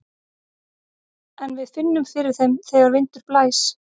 En við finnum fyrir þeim þegar vindur blæs.